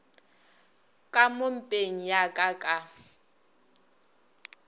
ka mo mpeng yaka ka